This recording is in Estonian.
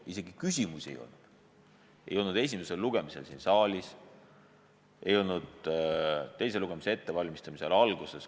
Isegi küsimusi ei olnud – ei olnud esimesel lugemisel siin saalis, ei olnud algul ka komisjonis teise lugemise ettevalmistamisel.